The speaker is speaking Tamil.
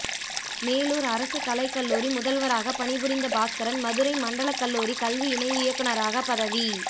மேலுார் அரசு கலை கல்லுாரி முதல்வராக பணிபுரிந்த பாஸ்கரன் மதுரை மண்டல கல்லுாரி கல்வி இணை இயக்குனராக பதவி